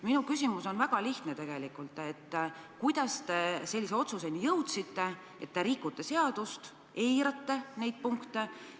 Minu küsimus on tegelikult väga lihtne: kuidas te sellise otsuseni jõudsite, et rikute seadust ja eirate neid punkte?